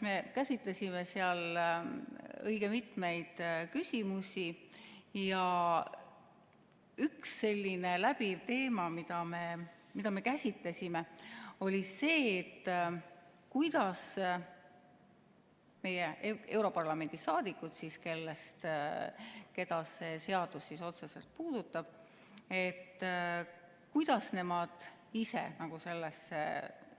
Me käsitlesime seal õige mitmeid küsimusi ja üks selline läbiv teema, mida me käsitlesime, oli see, et kuidas meie europarlamendi liikmed, keda see seadus otseselt puudutab, ise